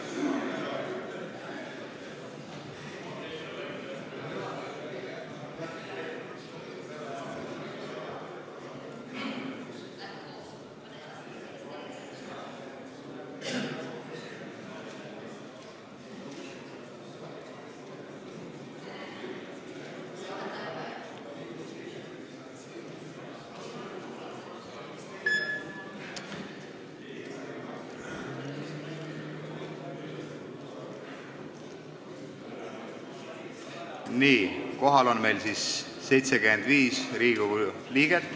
Kohaloleku kontroll Meil on siin kohal 75 Riigikogu liiget.